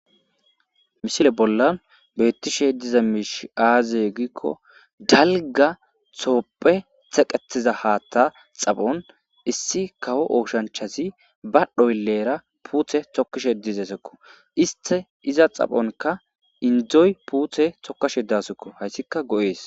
Misile bollan beettishe diza miish aaze gikko dalga toopphe teqetiza haatta xaphon issi kawo ooshanchazi ba dhoylleera puuthe tokkishe dizesekko iste iza xaphonka indzdzoy puuthe tokkashe dasekko hayssika go'ees.